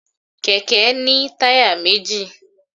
kẹkẹ ni tayá mejí